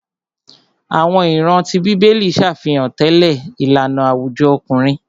Àwọn ìran tí bíbélì ṣàfihàn tẹlẹ ìlànà àwùjọ ọkùnrin.